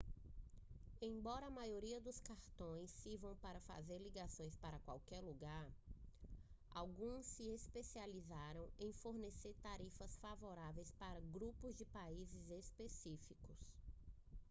embora a maioria dos cartões sirvam para fazer ligações para qualquer lugar alguns se especializam em fornecer tarifas favoráveis para grupos de países específicos